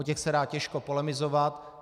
O těch se dá těžko polemizovat.